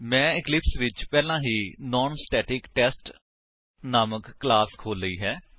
ਮੈਂ ਇਕਲਿਪਸ ਵਿੱਚ ਪਹਿਲਾਂ ਹੀ ਨਾਨਸਟੈਟਿਕਟੈਸਟ ਨਾਮਕ ਕਲਾਸ ਖੋਲ ਲਈ ਹੈ